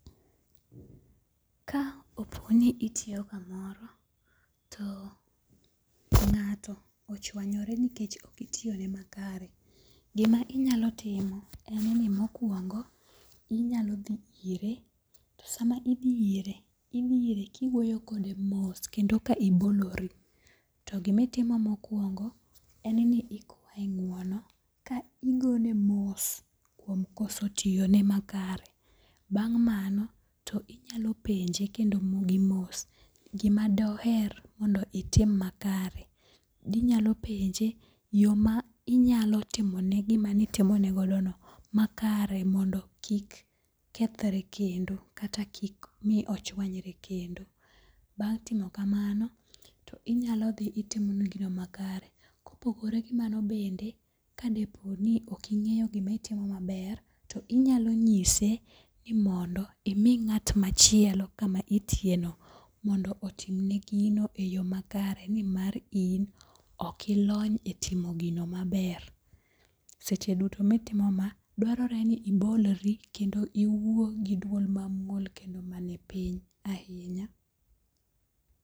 Ka oponi itiyo kamoro, to ngato ochwanyore nikech ok itiyone makare, gima inyalo timo en ni mokwongo inyalo dhi ire to sama idhi ire, idhi ire kiwuoyo kode mos kendo ka ibolori to gimitimo mokwongo en ni ikwaye ng'wono ka igone mos kuom koso tiyone makare. Bang' mano to inyalo penje kendo gi mos gima doher mondo itim makare. Dinyalo penje yo ma inyalo timone gimanitimonegodono makare mondo kik kethre kendo kata kik mi ochwanyre kendo. Bang' timo kamano, to inyalo dhi itimone gino makare. Kopogore gi mano kendo, kadepo ni ok ing'eyo gimaitimo maber to inyalo nyise ni mondo imi ng'at machielo kama itiyeno mondo otimni gino e yo makare nimar in ok ilony e timo gino maber. Seche duto mitimo ma, dwarore ni ibolri kendo iwuo gi dwol mamuol kendo manipiny ahinya.